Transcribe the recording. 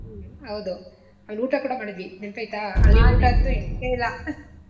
ಹೌದು ಅಲ್ ಊಟ ಕೂಡ ಮಾಡಿದ್ವಿ ನೆನಪೈತಾ ಅಲ್ಲಿ ಊಟ ಅಂತೂ ಹಿಡ್ಸ್ಲೆ ಇಲ್ಲಾ .